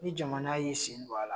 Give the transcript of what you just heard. Ni jamana y'i sen don a la